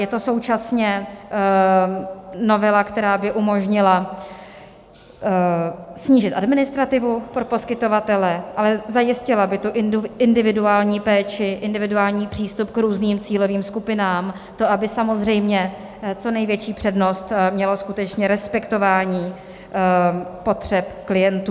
Je to současně novela, která by umožnila snížit administrativu pro poskytovatele, ale zajistila by tu individuální péči, individuální přístup k různým cílovým skupinám, to, aby samozřejmě co největší přednost mělo skutečně respektování potřeb klientů.